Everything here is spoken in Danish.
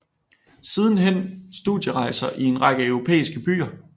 Sidenhen studierejser i en række europæiske byer